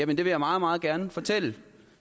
det vil jeg meget meget gerne fortælle